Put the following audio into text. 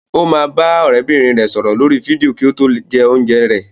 Ó máa bá ọ̀rẹ́bìnrin rẹ̀ sọ̀rọ̀ lórí fídíò kí ó tó jẹ oúnjẹ rẹ̀.